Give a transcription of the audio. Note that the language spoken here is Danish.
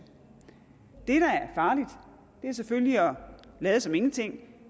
det der er farligt er selvfølgelig at lade som ingenting